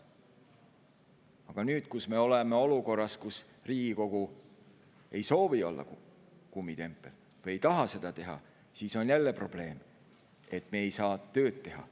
Aga nüüd, kus me oleme olukorras, kus Riigikogu ei soovi olla kummitempel, ei taha see olla, on jälle probleem, et me ei saa tööd teha.